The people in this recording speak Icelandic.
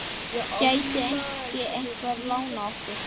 Gæti ekki einhver lánað okkur?